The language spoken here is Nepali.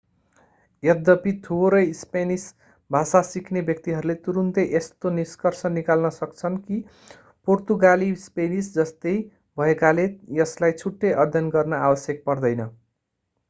यद्यपि थोरै स्पेनिस भाषा सिक्ने व्यक्तिहरूले तुरुन्तै यस्तो निष्कर्ष निकाल्न सक्छन् कि पोर्तुगाली स्पेनिस जस्तै भएकाले यसलाई छुट्टै अध्ययन गर्न आवश्यक पर्दैन